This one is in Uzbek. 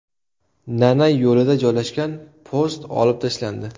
Nanay yo‘lida joylashgan post olib tashlandi.